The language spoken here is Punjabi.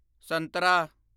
ਸੰਤਰਾ